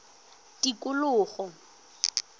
tikologo